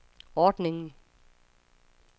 ordningen